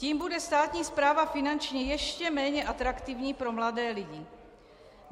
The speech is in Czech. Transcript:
Tím bude státní správa finančně ještě méně atraktivní pro mladé lidi.